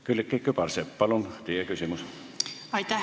Külliki Kübarsepp, palun teie küsimus!